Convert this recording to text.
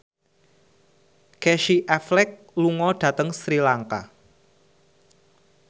Casey Affleck lunga dhateng Sri Lanka